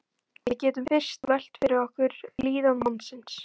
Við getum fyrst velt fyrir okkur líðan mannsins.